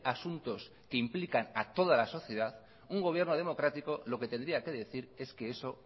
asuntos que implican a toda la sociedad un gobierno democrático lo que tendría que decir es que eso